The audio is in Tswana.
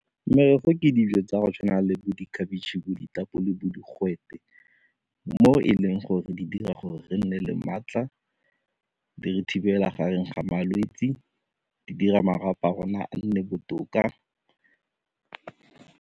Merogo ke dijo tsa go tshwana le bo dikhabetšhe bo ditapole bo digwete mo e leng gore di dira gore re nne le maatla, di re thibela gareng ga malwetse, di dira marapo a rona a nne botoka.